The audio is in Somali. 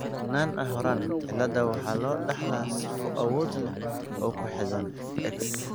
Nance Horan cilada waxa loo dhaxlaa sifo awood leh oo ku xidhan X.